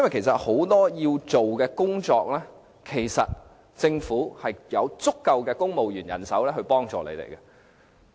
政府很多應做的工作，其實有足夠公務員人手可以提供協助。